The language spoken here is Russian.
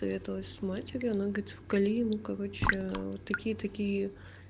посоветовалась с матерью она говорит вколи ему короче вот такие такие